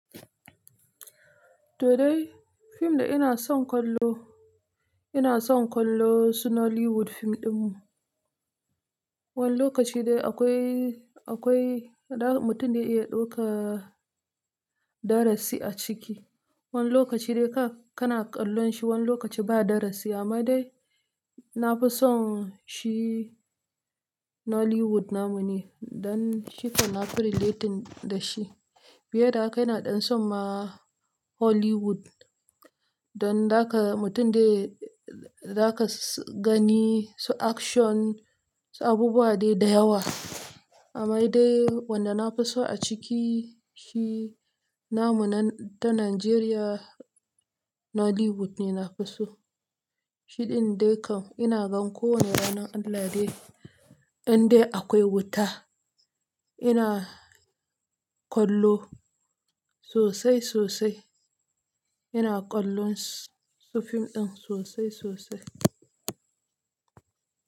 To dai, fim da ina son kallo, ina son kallo su Nollywood fim din. Wani lokaci dai akwai, akwai, mutum dai iya ɗauka darasi a ciki. Wani lokaci dai kana kallon shi wani lokaci ba darasi, amma dai na fi son shi Nollywood namu ne don shi kana fi relating da shi. Biye da haka yana ɗan son ma Hollywood don daka mutum dai zaka gani su action, su abubuwa dai da yawa. Amma dai wanda na fi so a cikin shi namun nan ta Najeriya Nollywood ne na fi so. Shi din dai kam ina gan kowane ranar Allah dai indai akwai wuta. Ina kallo sosai sosai, ina kallon su fim din sosai sosai.